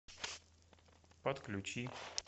подключи